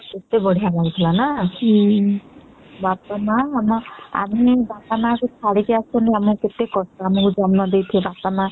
କେତେ ବଢିଆ ଲାଗୁ ଥିଲା ନା ବାପା ମା କୁ ଛାଡିକି ଆସିଲୁ ଆମକୁ ସେମାନେ ଜନ୍ମ ସେଇଥିଲେ ତାଙ୍କୁ କେତେ କଷ୍ଟ ହୁଁ